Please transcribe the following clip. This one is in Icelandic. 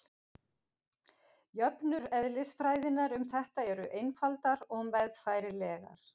jöfnur eðlisfræðinnar um þetta eru einfaldar og meðfærilegar